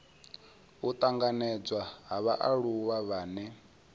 u tanganedzwa ha vhaaluwa vhane